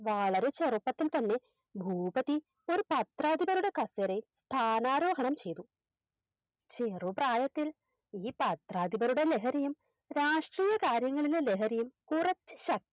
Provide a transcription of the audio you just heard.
വളരെ ചെറുപ്പത്തിൽ തന്നെ ഭൂപതി ഒരു പത്രാധിപരുടെ കസേരയിൽ സ്ഥാനാരോഹണം ചെയ്തു ചെറുപ്രായത്തിൽ ഈ പത്രാധിപരുടെ ലഹരിയും രാഷ്ട്രീയ കാര്യങ്ങളിലെ ലഹരിയും കുറച്ച് ശ